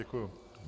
Děkuji.